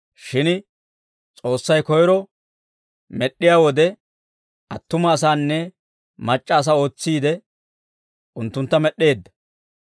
Shin S'oossay koyro med'd'iyaa wode, attuma asanne mac'c'a asaa ootsiide, unttuntta med'd'eedda.